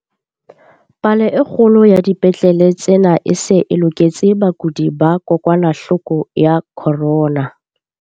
Palo e kgolo ya dipetlele tsena e se e loketse bakudi ba kokwanahloko ya corona.